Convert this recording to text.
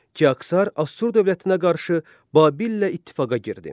Kiksər Assur dövlətinə qarşı Babillə ittifaqa girdi.